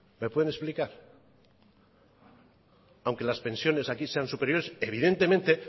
me pueden explicar aunque las pensiones aquí sean superiores evidentemente